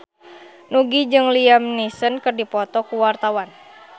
Nugie jeung Liam Neeson keur dipoto ku wartawan